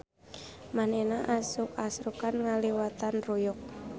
Manehna asruk-asrukan ngaliwatan ruyuk.